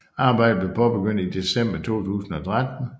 Arbejdet blev påbegyndt i december 2013